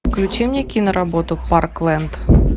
включи мне киноработу парклэнд